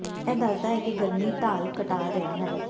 ਇਹ ਦੱਸਦਾ ਹੈ ਕਿ ਗਰਮੀ ਢਾਲ ਘਟਾ ਰਿਹਾ ਹੈ